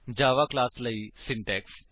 ਜਾਵਾ class ਲਈ syntax